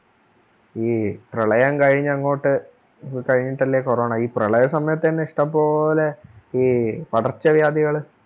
ഈ പ്രളയം കഴിഞ്ഞങ്ങോട്ടു കഴിഞ്ഞിട്ടല്ലേ corona ഈ പ്രളയസമയത്തന്നെ ഇഷ്ടംപോലെ ഈ പടർച്ച വ്യാധികള്